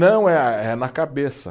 Não, é é na cabeça.